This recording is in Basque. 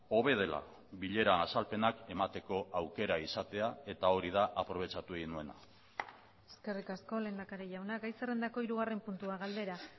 hobe dela bileran azalpenak emateko aukera izatea eta hori da aprobetxatu egin nuena eskerrik asko lehendakari jauna gai zerrendako hirugarren puntua galdera